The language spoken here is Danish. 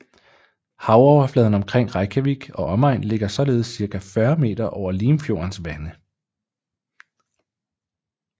Havoverfladen omkring Reykjavik og omegn ligger således cirka 40 meter over Limfjordens vande